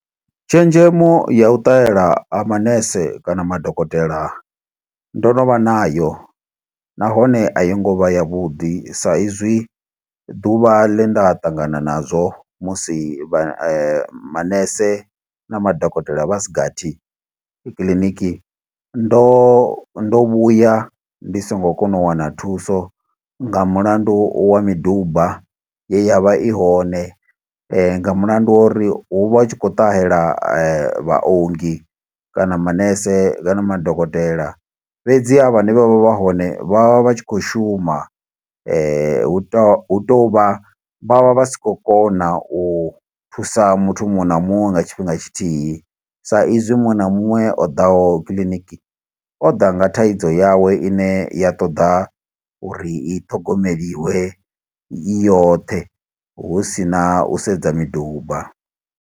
Tshenzhemo ya u ṱahela ha manese kana madokotela ndo no vha nayo, nahone a yo ngo vha yavhuḓi. Sa izwi ḓuvha ḽe nda ṱangana nazwo, musi vha manese na madokotela vhasigathi kiḽiniki. Ndo ndo vhuya ndi songo kona u wana thuso, nga mulandu wa miduba ye ya vha i hone, nga mulandu wa uri hu vha hu tshi khou ṱahela vhaongi, kana manese kana madokotela. Fhedzi ha vhane vha vha vha hone vha vha vha tshi khou shuma, hu tou hu tou vha, vha vha vha si khou kona u thusa muthu muṅwe na muṅwe nga tshifhinga tshithihi. Sa izwi muṅwe na muṅwe o ḓaho kiḽiniki, o ḓa nga thaidzo yawe ine ya ṱoḓa uri i ṱhogomelwe i yoṱhe, husina u sedza miduba.